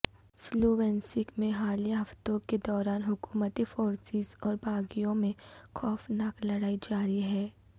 Sloviansk میں حالیہ ہفتوں کے دوران حکومتی فورسز اور باغیوں میں خوفناک لڑائی جاری ہے